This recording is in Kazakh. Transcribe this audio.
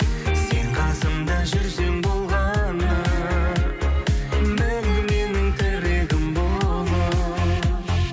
сен қасымда жүрсең болғаны мәңгі менің тірегім болып